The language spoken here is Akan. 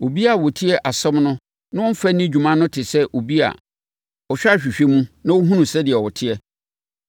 Obiara a ɔtie asɛm no na ɔmfa nni dwuma no te sɛ obi a ɔhwɛ ahwehwɛ mu, na ɔhunu sɛdeɛ ɔteɛ.